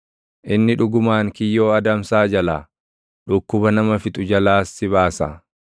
Inni dhugumaan kiyyoo adamsaa jalaa, dhukkuba nama fixu jalaas si baasa.